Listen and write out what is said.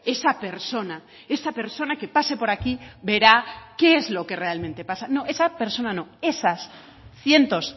esa persona esa persona que pase por aquí verá qué es lo que realmente pasa no esa persona no esas cientos